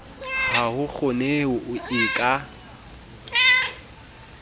ha ho kgoneho e ka